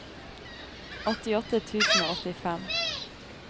åttiåtte tusen og åttifem